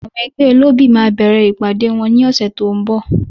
Àwọn ẹgbẹ́ olóbì máa bẹ̀rẹ̀ ìpàdée wọn ní ọ̀sẹ̀ tí ó ń bọ̀.